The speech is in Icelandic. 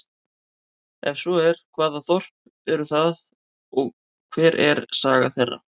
Er svo er, hvaða þorp eru það og hver er saga þeirra?